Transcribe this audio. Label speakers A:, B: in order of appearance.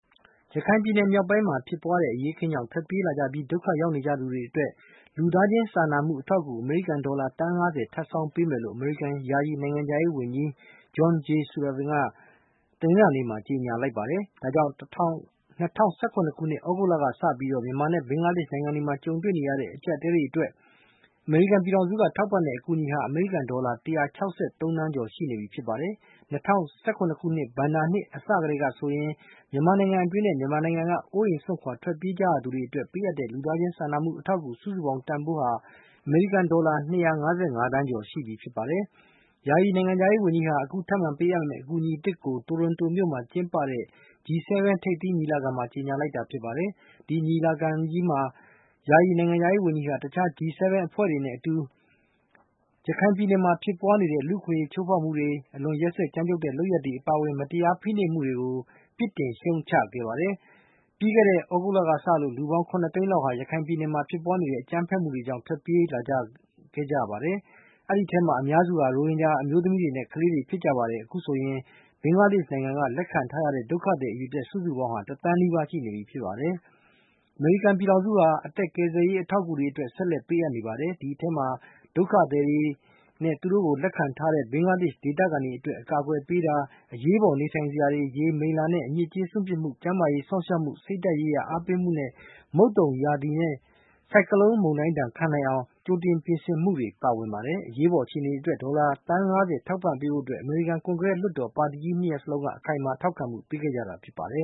A: ရခိုင်ပြည်နယ် မြောက်ပိုင်းမှာ ဖြစ်ပွားတဲ့ အရေးအခင်းကြောင့် ထွက်ပြေးလာကြပြီး ဒုက္ခရောက်နေကြတဲ့ လူတွေအတွက် လူသားချင်း စာနာမှု အထောက်အကူ အမေရိကန်ဒေါ်လာ သန်း (၅၀) ထပ်ဆောင်းပေးမယ်လို့ အမေရိကန် ယာယီ နိုင်ငံခြားရေးဝန်ကြီး John J Sullivan က တနင်္လာနေ့ မှာ ကြေညာလိုက်ပါတယ်။ ဒါကြောင့် ၂၀၁၇ ခုနှစ် သြဂုတ်လ က စပြီး မြန်မာနိုင်ငံနဲ့ ဘင်္ဂလားဒေ့ရှ် နိုင်ငံတွေမှာ ကြုံတွေ့နေရတဲ့ အကြပ်အတည်းတွေ အတွက် အမေရိကန်ပြည်ထောင်စုက ထောက်ပံ့တဲ့ အကူအညီဟာ အမေရိကန်ဒေါ်လာ ၁၆၃ သန်းကျော် ရှိနေပြီဖြစ်ပါတယ်။ ၂၀၁၇ ခုနှစ် ဘဏ္ဍာနှစ် အစကတည်းက ဆိုရင် မြန်မာနိုင်ငံအတွင်းနဲ့ မြန်မာနိုင်ငံကနေ အိုးအိမ်စွန့်ခွာ ထွက်ပြေးခဲ့ကြရသူတွေ အတွက် ပေးအပ်တဲ့ လူသားချင်း စာနာမှုအထောက်အကူ စုစုပေါင်းတန်ဖိုးဟာ အမေရိကန်ဒေါ်လာ ၂၅၅ သန်းကျော် ရှိပြီဖြစ်ပါတယ်။ ယာယီ နိုင်ငံခြားရေးဝန်ကြီးဟာ အခုထပ်မံပေးအပ်မဲ့ အကူအညီအသစ် ကို တိုရွန်တိုမြို့မှာကျင်းပတဲ့ G7 ထိပ်သီးညီလာခံမှာ ကြေညာလိုက်တာ ဖြစ်ပါတယ်။ ဒီညီလာခံကြီးမှာ ယာယီနိုင်ငံခြားရေး ဝန်ကြီးဟာ တခြား G7 အဖွဲ့ဝင်တွေနဲ့အတူ ရခိုင်ပြည်နယ်မှာ ဖြစ်ပွားနေတဲ့ လူ့အခွင့်အရေးချိုးဖေါက်မှုတွေ၊ အလွန် ရက်စက်ကြမ်းကြုတ်တဲ့ လုပ်ရပ်တွေ အပါဝင် မတရားဖိနှိပ်မှုတွေကို ပစ်တင်ရှုတ်ချ ခဲ့ကြပါတယ်။ ပြီးခဲ့တဲ့ သြဂုတ်လကစလို့ လူပေါင်း (၇)သိန်း လောက်ဟာ ရခိုင်ပြည်နယ်မှာ ဖြစ်ပွားနေတဲ့ အကြမ်းဖက်မှုတွေကြောင့် ထွက်ပြေးခဲ့ကြပါတယ်။ ဒီအထဲမှာ အများစုဟာ ရိုဟင်ဂျာ အမျိုးသမီးတွေနဲ့ ကလေးတွေဖြစ်ကြပါတယ်။ အခုဆိုရင် ဘင်္ဂလားဒေ့ရှ်နိုင်ငံ က လက်ခံထားရတဲ့ ဒုက္ခသည် အရေအတွက် စုစုပေါင်းဟာ တသန်း နီးပါးရှိနေပြီ ဖြစ်ပါတယ်။ အမေရိကန်ပြည်ထောင်စုဟာ အသက်ကယ်ဆယ်ရေး အထောက်အကူတွေကို ဆက်လက် ပေးအပ်နေပါတယ်။ ဒီအထဲမှာ ဒုက္ခသည်တွေနဲ့ သူတို့ကိုလက္ခံထားကြရတဲ့ ဘင်္ဂလားဒေ့ရှ် ဒေသခံတွေ အတွက် အကာအကွယ်ပေးတာ၊ အရေးပေါ် နေထိုင်စရာတွေ၊ ရေနဲ့ မိလ္လာ အညစ်ကြေး စွန့်ပစ်မှုစနစ်၊ ကျန်းမာရေး စောင့်ရှောက်မှုနဲ့ စိတ်ဓါတ်ရေးရာ အားပေးကူညီမှုတွေ၊ မုတ်သုန်မိုးရာသီနဲ့ ဆိုက်ကလုန်း လေမုန်တိုင်းဒဏ် ခံနိုင်အောင် ကြိုတင်ပြင်ဆင်မှုတွေ ပါဝင်ပါတယ်။ အရေးပေါ်အခြေအနေတွေအတွက် ဒေါ်လာသန်း ၅၀ ထောက်ပံ့ကူညီပေးဖို့ အတွက် အမေရိကန် ကွန်ဂရက်လွှတ်တော် ပါတီကြီး ၂ ရပ် လုံးက အခိုင်အမာ ထောက်ခံမှု ပေးခဲ့ကြတာဖြစ်ပါတယ